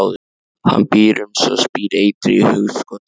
Hann býr um sig og spýr eitri í hugskot þess.